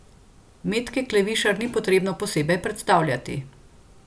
Metke Klevišar ni potrebno posebej predstavljati.